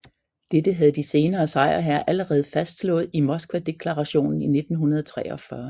Dette havde de senere sejrherrer allerede fastslået i Moskvadeklarationen i 1943